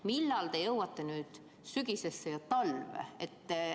Millal te jõuate nüüd sügisesse ja talve?